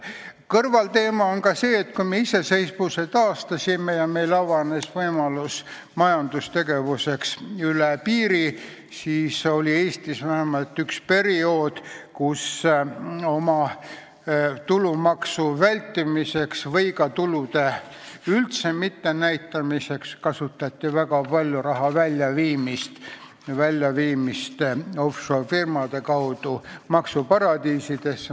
Kõrvalteema on see, et kui me iseseisvuse taastasime ja meil avanes võimalus üle piiri toimuvaks majandustegevuseks, siis oli Eestis vähemalt üks periood, kui tulumaksu vältimiseks või ka tulude üldse mittenäitamiseks kasutati väga palju raha offshore-firmade kaudu maksuparadiisidesse viimist.